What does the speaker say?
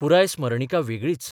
पुराय स्मरणिका वेगळीच.